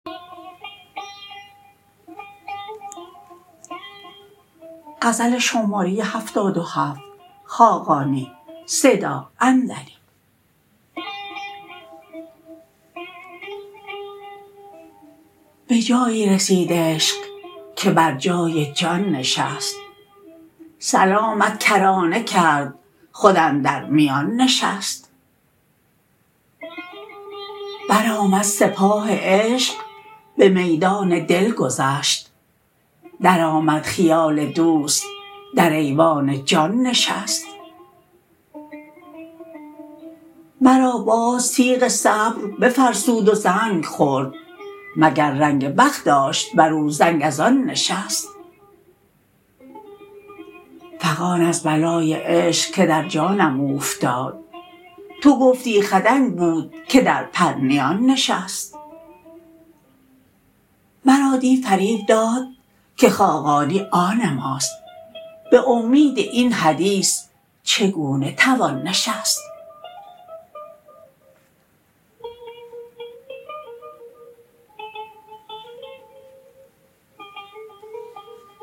به جایی رسید عشق که بر جای جان نشست سلامت کرانه کرد خود اندر میان نشست برآمد سپاه عشق به میدان دل گذشت درآمد خیال دوست در ایوان جان نشست مرا باز تیغ صبر بفرسود و زنگ خورد مگر رنگ بخت داشت بر او زنگ از آن نشست فغان از بلای عشق که در جانم اوفتاد تو گفتی خدنگ بود که در پرنیان نشست مرا دی فریب داد که خاقانی آن ماست به امید این حدیث چگونه توان نشست